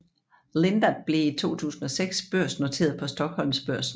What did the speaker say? Lindab blev i 2006 børsnoteret på Stockholmsbörsen